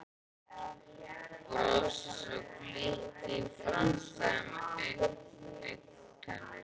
Brosi svo glittir í framstæðar augntennur.